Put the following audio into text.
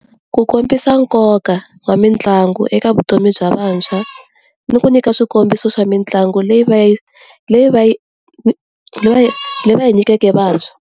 ku kombisa nkoka wa mitlangu eka vutomi bya vantshwa ni ku nyika swikombiso swa mitlangu leyi va yi leyi va yi leyi va yi nyikeke vantshwa.